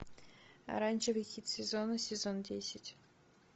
оранжевый хит сезона сезон десять